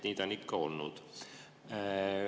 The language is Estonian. Nii on see ikka olnud.